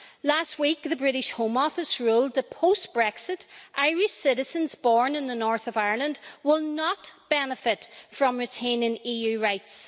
Last week, the British Home Office ruled that, post Brexit, Irish citizens born in the north of Ireland will not benefit from retaining EU rights.